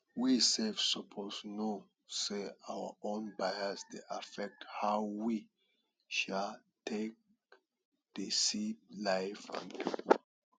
we sef suppose know sey our own bias dey affect how we um take dey see life and pipo